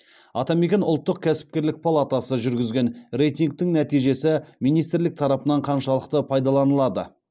атамекен ұлттық кәсіпкерлік палатасы жүргізген рейтингтің нәтижесі министрлік тарапынан қаншалықты пайдаланылады